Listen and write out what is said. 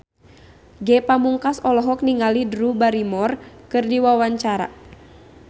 Ge Pamungkas olohok ningali Drew Barrymore keur diwawancara